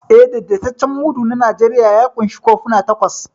Eh, daidaitaccen mudu na Najeriya ya ƙunshi kofuna takwas.